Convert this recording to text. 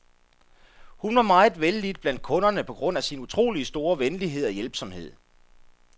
Hun var meget vellidt blandt kunderne på grund af sin utroligt store venlighed og hjælpsomhed.